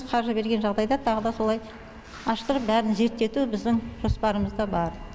қаржы берген жағдайда тағы да солай аштырып бәрін зерттету біздің жоспарымызда бар